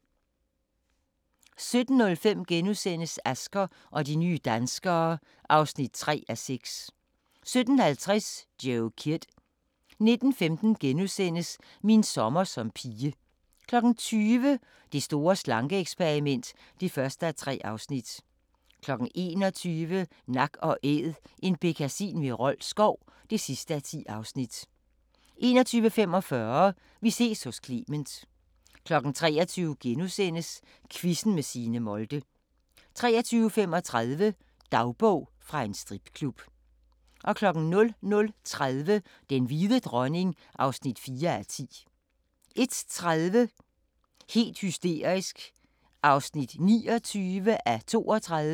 17:05: Asger og de nye danskere (3:6)* 17:50: Joe Kidd 19:15: Min sommer som pige * 20:00: Det store slanke-eksperiment (1:3) 21:00: Nak & Æd – en bekkasin ved Rold Skov (10:10) 21:45: Vi ses hos Clement 23:00: Quizzen med Signe Molde * 23:35: Dagbog fra en stripklub 00:30: Den hvide dronning (4:10) 01:30: Helt hysterisk (29:32)